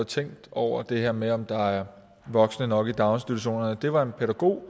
tænkt over det her med om der er voksne nok i daginstitutionerne det var en pædagog